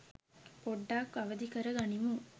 පොඩ්ඩක් අවදි කර ගනිමු